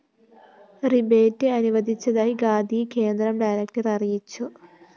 rebate അനുവദിച്ചതായി ഖാദി കേന്ദ്രം director അറിയിച്ചു